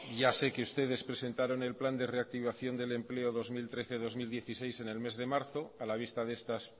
ya sé que ustedes presentaron el plan de reactivación del empleo dos mil trece dos mil dieciséis en el mes de marzo a la vista de estas